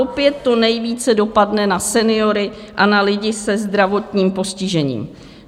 Opět to nejvíce dopadne na seniory a na lidi se zdravotním postižením.